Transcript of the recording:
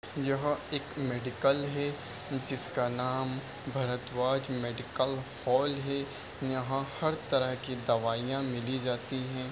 यह एक मेडिकल है जिसका नाम भरद्वाज मेडिकल हॉल है यहाँ हर तरह की दवाइयां मिली जाती है।